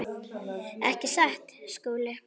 Ekki satt, Skúli?